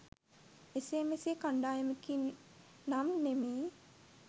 එසේ මෙසේ කණ්ඩායමකින් නම් නෙමෙයි.